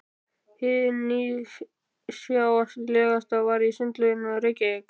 Hið nýstárlegasta var í Sundlaugunum í Reykjavík.